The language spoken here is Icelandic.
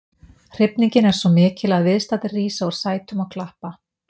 Hrifningin er svo mikil að viðstaddir rísa úr sætum og klappa.